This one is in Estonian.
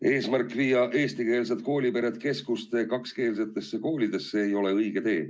Eesmärk viia eestikeelsed koolipered keskuste kakskeelsetesse koolidesse ei ole õige tee.